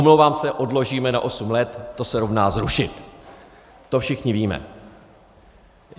Omlouvám se - odložíme na osm let, to se rovná zrušit, to všichni víme.